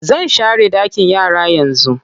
Zan share ɗakin yara yanzu.